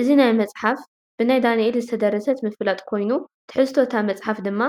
እዚ ናይ መፅሓፍ ብዳኒኤል ዝተደርስት ምፍላጥ ኮይኑ ትሕዝቶ እታ መፅሓፍ ድማ